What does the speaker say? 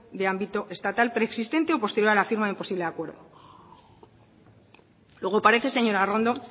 de ámbito estatal preexistente o posterior a la firma de un posible acuerdo luego parece señora arrondo